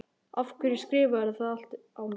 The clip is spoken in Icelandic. Af hverju skrifarðu það allt á mig?